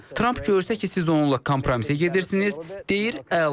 Tramp görsə ki, siz onunla kompromisə gedirsiniz, deyir əla.